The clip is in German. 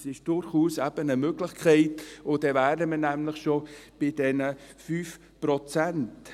Das ist eben durchaus eine Möglichkeit, und dann wären wir nämlich schon bei diesen 5 Prozent.